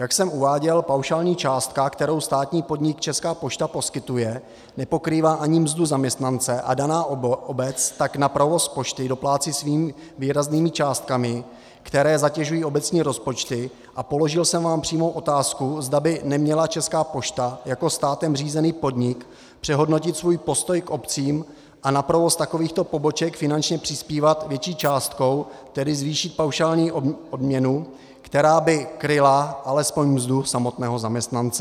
Jak jsem uváděl, paušální částka, kterou státní podnik Česká pošta poskytuje, nepokrývá ani mzdu zaměstnance, a daná obec tak na provoz pošty doplácí svými výraznými částkami, které zatěžují obecní rozpočty, a položil jsem vám přímou otázku, zda by neměla Česká pošta jako státem řízený podnik přehodnotit svůj postoj k obcím a na provoz takovýchto poboček finančně přispívat větší částkou, tedy zvýšit paušální odměnu, která by kryla alespoň mzdu samotného zaměstnance.